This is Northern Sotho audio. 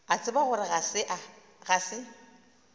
a tseba gore ga se